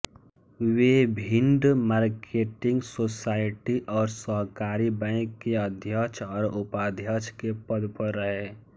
वे Bhind marketing society और सहकारी bank के अध्यक्ष और उपाध्यक्ष के पद पर रहे